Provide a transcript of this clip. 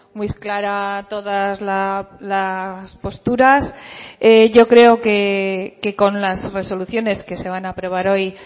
muy clara todas las posturas yo creo que con las resoluciones que se van a aprobar hoy